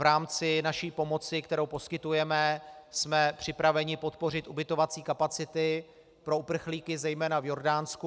V rámci naší pomoci, kterou poskytujeme, jsme připraveni podpořit ubytovací kapacity pro uprchlíky zejména v Jordánsku.